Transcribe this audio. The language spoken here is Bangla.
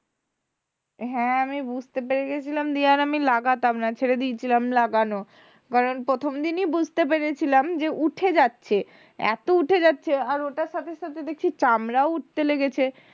হ্যাঁ আমি বুঝতে পেরে গেছিলাম দিয়ে আর আমি লাগাতাম না ছেড়ে দিয়েছিলাম লাগানো কারণ প্রথম দিনই বুঝতে পেরেছিলাম যে উঠে যাচ্ছে, এত উঠে যাচ্ছে এতো উঠে যাচ্ছে আর ওটার সাথে সাথে দেখছি চামড়াও উঠতে লেগেছে,